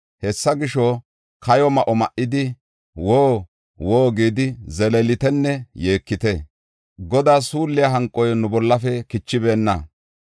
Hessa gisho, kayo ma7o ma7idi, “Woo! Woo!” gidi zeleelitenne yeekite. Godaa suulliya hanqoy nu bollafe kichibeenna.